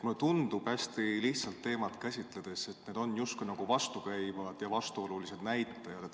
Mulle tundub hästi lihtsalt teemat käsitledes, et need on justkui vastukäivad ja vastuolulised näitajad.